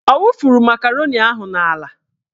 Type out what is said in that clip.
Ọ wufuru makaroni ahụ n'ala?